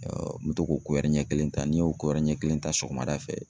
n bɛ to k'o ɲɛ kelen ta n'i y'o ɲɛ kelen ta sɔgɔma da fɛ